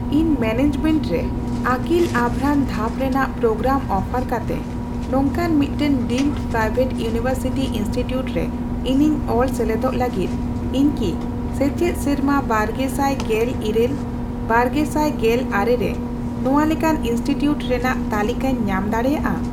ᱤᱧ ᱢᱮᱱᱮᱡᱢᱮᱱᱴ ᱨᱮ ᱟᱹᱠᱤᱞ ᱟᱵᱷᱨᱟᱱ ᱫᱷᱟᱯ ᱨᱮᱱᱟᱜ ᱯᱨᱳᱜᱨᱟᱢ ᱚᱯᱷᱟᱨ ᱠᱟᱛᱮ ᱱᱚᱝᱠᱟᱱ ᱢᱤᱫᱴᱟᱝ ᱰᱤᱢᱰ ᱯᱨᱟᱭᱵᱷᱮᱴ ᱤᱭᱩᱱᱤᱣᱮᱨᱥᱤᱴᱤ ᱤᱱᱥᱴᱤᱴᱤᱭᱩᱴ ᱨᱮ ᱤᱧᱤᱧ ᱚᱞ ᱥᱮᱞᱮᱫᱚᱜ ᱞᱟᱹᱜᱤᱫ, ᱤᱧ ᱠᱤ ᱥᱮᱪᱮᱫ ᱥᱮᱨᱢᱟ ᱵᱟᱨᱜᱮᱥᱟᱭ ᱜᱮᱞ ᱤᱨᱟᱹᱞ ᱼᱵᱟᱨᱜᱮᱥᱟᱭ ᱜᱮᱞ ᱟᱨᱮ ᱨᱮ ᱱᱚᱣᱟ ᱞᱮᱠᱟᱱ ᱤᱱᱥᱴᱤᱴᱤᱭᱩᱴ ᱨᱮᱱᱟᱜ ᱛᱟᱞᱤᱠᱟᱧ ᱧᱟᱢ ᱫᱟᱲᱮᱭᱟᱜᱼᱟ ?